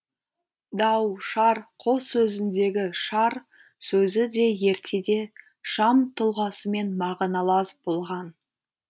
дау шар қос сөзіндегі шар сөзі де ертеде шам тұлғасымен мағыналас болған